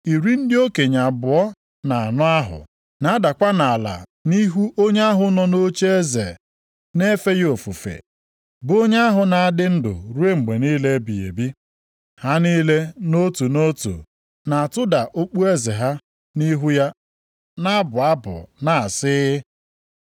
iri ndị okenye abụọ na anọ ahụ na-adakwa nʼala nʼihu onye ahụ nọ nʼocheeze na-efe ya ofufe, bụ onye ahụ na-adị ndụ ruo mgbe niile ebighị ebi. Ha niile nʼotu nʼotu na-atụda okpueze ha nʼihu ya na-abụ abụ na-asị,